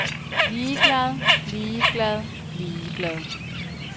ligeglad ligeglad ligeglad